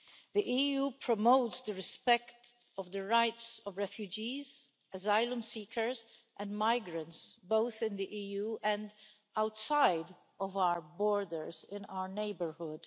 The EU promotes the respect of the rights of refugees, asylum seekers and migrants, both in the EU and outside of our borders in our neighbourhood.